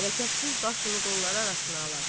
Hərəkətsiz başını qolları arasına alar.